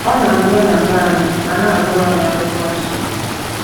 Ọ na - abịa na be anyị ma na - agụrụ anyị akwụkwọnsọ.